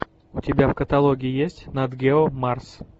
у тебя в каталоге есть нат гео марс